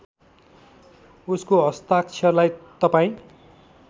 उसको हस्ताक्षरलाई तपाईँ